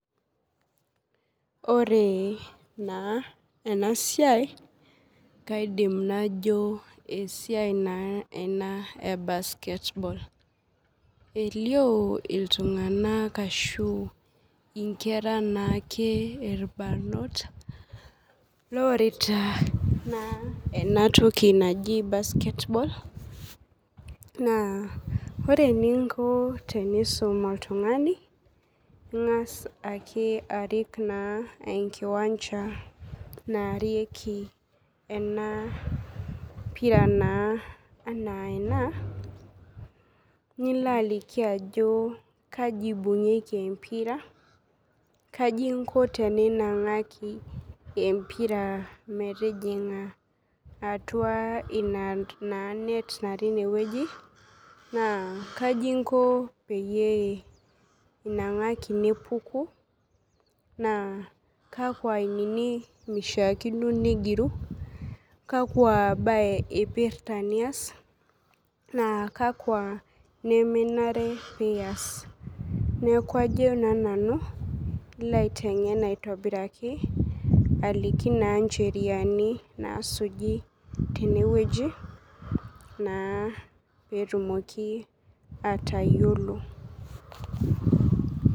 Ore na enasiai kaidim najo esiai na ena e basketball elio ltunganak ashu inkera naake itbarnot loarota na enatoki naji basketball na ore eninko tenisum oltungani ingas ake arik enkiwanja naarieki enapira na ana ena nilo aliki ajo kai ibungieki empira kaji inko teninangaki empira metijinga atua ina net natii inewueji na kaji inko pee inangaki nepuku na kakwa ainini ishaakino migiru kakwa bae ipirta nias naa kakwa nemenare pias neaku kajo na nanu ilobaitengen aitobiraki aliki na ncheriani nasuji tenewueji na petumomi atayiolo.